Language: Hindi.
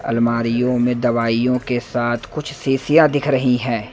अलमारियों में दवाइयों के साथ कुछ शीशियां दिख रही हैं।